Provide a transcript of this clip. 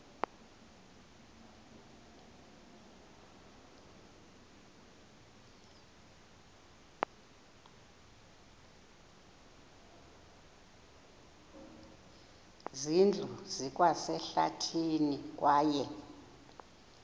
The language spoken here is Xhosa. zindlu zikwasehlathini kwaye